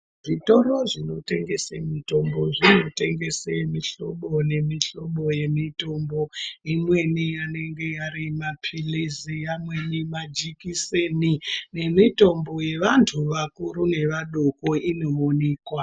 Zvitoro zvinotengese mitombo zvinotengese mihlobo nemihlobo yemitombo imweni anenge ari mapirizi amweni majekiseni nemitombo yevanthu vakuru nevadoko inoonekwa.